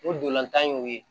O dolantan y'o ye